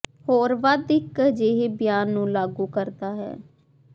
ਹੋਰ ਵੱਧ ਇੱਕ ਅਜਿਹੇ ਬਿਆਨ ਨੂੰ ਲਾਗੂ ਕਰਦਾ ਹੈ